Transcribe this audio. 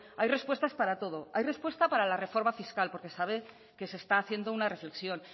hay respuestas para todo hay respuesta para la reforma fiscal porque sabe que se está haciendo una reflexión